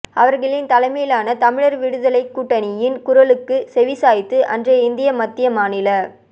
அவர்களின் தலைமையிலான தமிழர் விடுதலைக் கூட்டணியின் குரலுக்கு செவிசாய்த்து அன்றைய இந்திய மத்திய மாநில